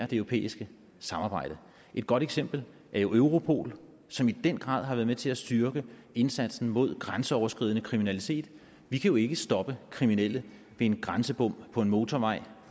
det europæiske samarbejde et godt eksempel er jo europol som i den grad har været med til at styrke indsatsen mod grænseoverskridende kriminalitet vi kan jo ikke stoppe kriminelle ved en grænsebom på en motorvej